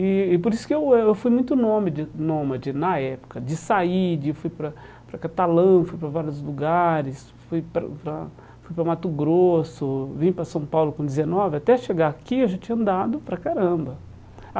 E e por isso que eu eu fui muito nome de nômede nômade na época, de sair, de fui para para Catalã, fui para vários lugares, fui para para fui para Mato Grosso, vim para São Paulo com dezenove, até chegar aqui eu já tinha andado para caramba.